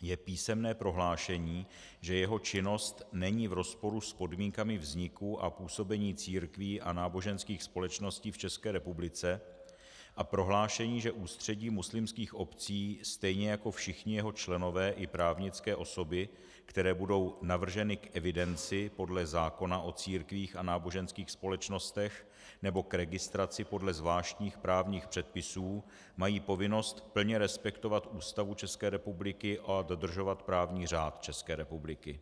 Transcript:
je písemné prohlášení, že jeho činnost není v rozporu s podmínkami vzniku a působení církví a náboženských společností v České republice, a prohlášení, že Ústředí muslimských obcí stejně jako všichni jeho členové i právnické osoby, které budou navrženy k evidenci podle zákona o církvích a náboženských společnostech nebo k registraci podle zvláštních právních předpisů, mají povinnost plně respektovat Ústavu České republiky a dodržovat právní řád České republiky.